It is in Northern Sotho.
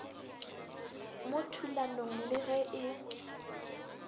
mo thulanong le ge e